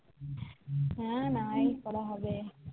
হ্যাঁ না পড়া হবে